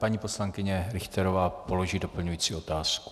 Paní poslankyně Richterová položí doplňující otázku.